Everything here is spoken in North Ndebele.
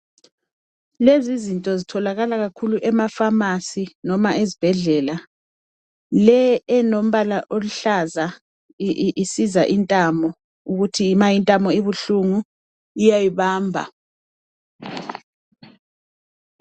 Lezizinto zitholakala kakhulu ema-pharmacy, noma ez'bhedlela. Le enombala oluhlaza, i-isiza intamo, ukuthi ma intamo ibuhlungu iyayibamba.